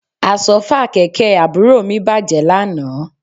Àsọ́fà kẹ̀kẹ́ àbúrò mi bàjẹ́ lánàá